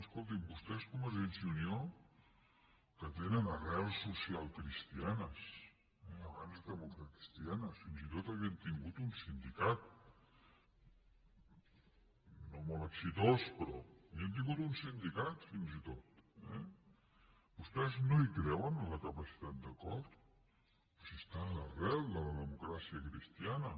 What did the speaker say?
escoltin vostès convergència i unió que tenen arrels socialcristianes abans democratacristianes fins i tot havien tingut un sindicat no molt exitós però havien tingut un sindicat fins i tot eh vostès no creuen en la capacitat d’acord però si és en l’arrel de la democràcia cristiana